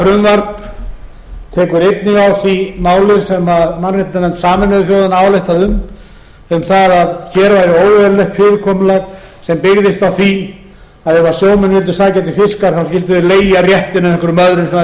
frumvarp tekur einnig á því máli sem mannréttindanefnd sameinuðu þjóðanna ályktaði um um það að hér er óeðlilegt fyrirkomulag sem byggðist á því að ef sjómennirnir sækja til fiskjar þá hlytu þeir að leigja réttinn af einhverjum öðrum sem hafa